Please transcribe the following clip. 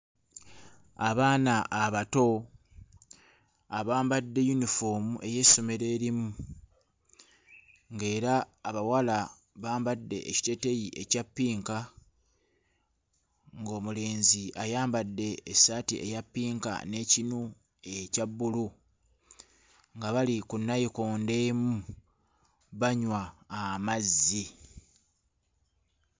Abaana abato abambadde yunifoomu ey'essomero erimu ng'era abawala bambadde ekiteeteeyi ekya ppinka ng'omulenzi ayambadde essaati eya ppinka n'ekinu ekya bbulu nga bali ku nnayikondo emu banywa amazzi.